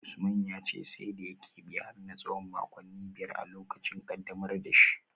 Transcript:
Usman ya ce sai da ya kebe har na tsawon makonni biyar a lokacin kaddamar da shi